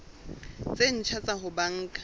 tse ntjha tsa ho banka